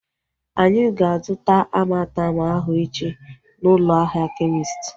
Anyị ga-azuta Amartem ahu echi na ụlọ ahịa kemist